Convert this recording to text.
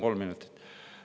Kolm minutit lisaks.